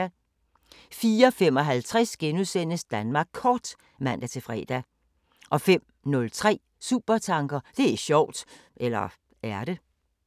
04:55: Danmark Kort *(man-fre) 05:03: Supertanker: Det er sjovt! – eller er det?